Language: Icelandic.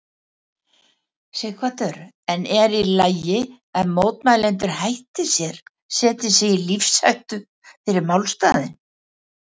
Sighvatur: En er í lagi að mótmælendur hætti sér, setji sig í lífshættu fyrir málstaðinn?